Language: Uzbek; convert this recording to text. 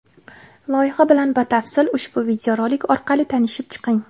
Loyiha bilan batafsil ushbu videorolik orqali tanishib chiqing.